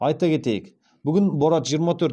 айта кетейік бүгін борат жиырма төрт